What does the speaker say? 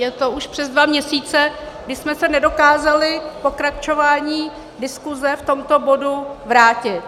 Je to už přes dva měsíce, kdy jsme se nedokázali pokračováním diskuse v tomto bodu vrátit.